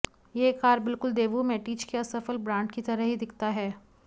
यह कार बिल्कुल Daewoo Matiz के असफल ब्रांड की तरह ही दिखता है